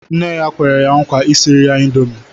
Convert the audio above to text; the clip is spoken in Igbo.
Nne ya kwere ya nkwa isiri ya índomi